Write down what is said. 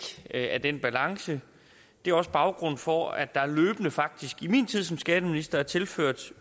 af den balance er også baggrunden for at der løbende faktisk i min tid som skatteminister er tilført